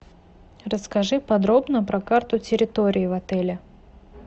расскажи подробно про карту территории в отеле